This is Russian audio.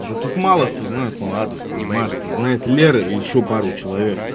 да тут мало кто знает мой адрес понимаешь тут знает лера и ещё пару человек